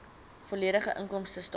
volledige inkomstestaat